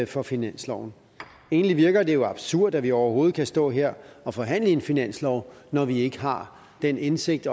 for finansloven egentlig virker det jo absurd at vi overhovedet kan stå her og forhandle en finanslov når vi ikke har den indsigt